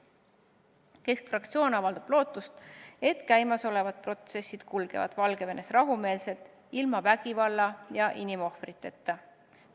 Keskerakonna fraktsioon avaldab lootust, et käimasolevad protsessid kulgevad Valgevenes rahumeelselt, ilma vägivalla ja inimohvriteta.